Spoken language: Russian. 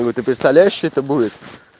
ну ты представляешь что это будет